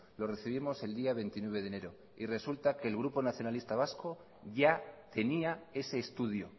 lo recibimos el día veintinueve de enero y resulta que el grupo nacionalista vasco ya tenía ese estudio